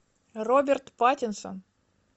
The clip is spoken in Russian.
роберт паттинсон